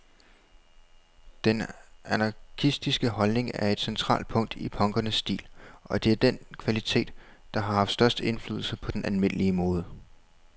Den anarkistiske holdning er et centralt punkt i punkernes stil, og det er den kvalitet, der har haft størst indflydelse på den almindelige mode.